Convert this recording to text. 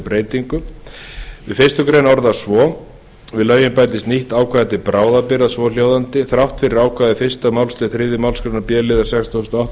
breytingu fyrstu grein orðist svo við lögin bætist nýtt ákvæði til bráðabirgða svohljóðandi þrátt fyrir ákvæði fyrstu málsl þriðju málsgrein b liðar sextugustu og